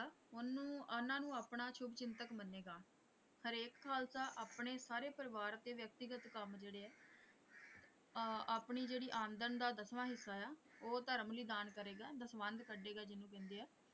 ਉਹਨੂੰ ਉਹਨਾਂ ਨੂੰ ਆਪਣਾ ਸ਼ੁਭਚਿੰਤਕ ਮੰਨੇਗਾ ਹਰੇਕ ਖ਼ਾਲਸਾ ਆਪਣੇ ਸਾਰੇ ਪਰਿਵਾਰ ਅਤੇ ਵਿਅਕਤੀਗਤ ਕੰਮ ਜਿਹੜੇ ਹੈ ਅਹ ਆਪਣੀ ਜਿਹੜੀ ਆਮਦਨ ਦਾ ਦਸਵਾਂ ਹਿੱਸਾ ਹੈ ਉਹ ਧਰਮ ਲਈ ਦਾਨ ਕਰਿਆ ਕਰੇਗਾ ਦਸਵੰਧ ਕੱਢੇਗਾ ਜਿਹਨੂੰ ਕਹਿੰਦੇ ਆ।